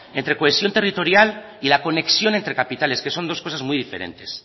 entre cohesión territorial y la conexión entre capitales que son dos cosas muy diferentes